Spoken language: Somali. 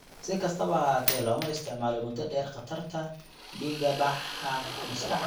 Si kastaba ha ahaatee, looma isticmaalo muddo dheer khatarta dhiigbaxa maskaxda.